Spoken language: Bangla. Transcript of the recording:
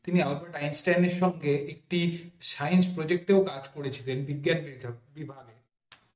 তিনি আলবার্ট আইনস্টাইন এর সঙ্গে একটি science project ও কাজ করেছিলেন বিজ্ঞান কি ভাবে